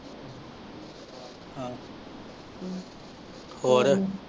ਆਹੋ, ਹੋਰ?